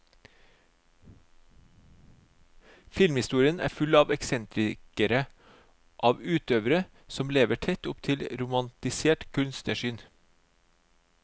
Filmhistorien er full av eksentrikere, av utøvere som lever tett opp til et romantisert kunstnersyn.